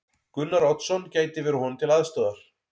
Gunnar Oddsson gæti verið honum til aðstoðar.